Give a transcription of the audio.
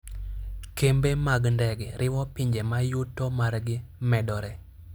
Kembe mag ndege riwo pinje ma yuto margi medore.